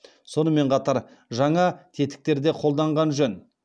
сонымен қатар жаңа тетіктер де қолданған жөн